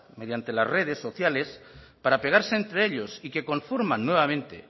mediante las redes sociales para pegarse entre ellos y que conforman nuevamente